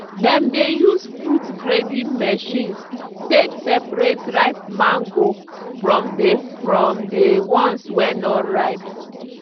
dem dey use fruit grading machine take separate ripe mango from dey from dey ones wey no ripe.